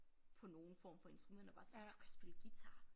På nogen form for instrumenter bare sådan du kan spille guitar